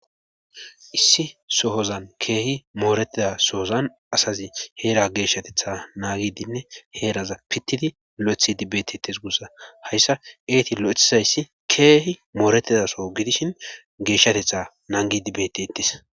Issi sohozan keehi mooretida sohozan asazi heera geeshshatetha naagidinne heeraza pittidi lo7eththi dibeetetes gussa hayssa eeti lo7ethizayssi keehi mooretidasoo gidishin geeshshatetha nangi dibetetis